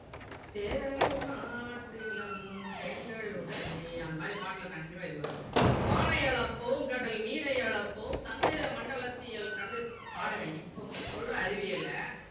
சேர நாட்டிளம் பெண்களுடனே அந்த மாதிரி பாட்டுல continue வா இது வரும் வானை அளப்போம் கடல் மீனை அளப்போம் சந்திர மண்டலத்தியல் கண்டு பாருங்க இப்போ சொல்ற அறிவியல